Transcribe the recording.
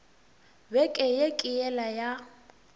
beke ye ke yela ya